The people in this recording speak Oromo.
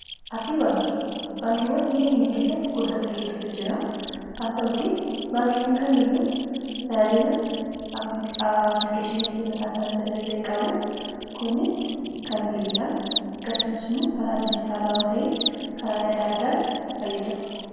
appii baankii baankiiwwan wiyyakeenya keessatti gosata hiddotu jira haa ta'uti baankiiwwan kamiiyyuu tajaajila applikeeshinifi mataa isaaniita dande'e qabu kunis kan bilbilaan akkasumas immuo kalaa dijitaalawaa ta'iin kalaal yaada addaan fayyadamu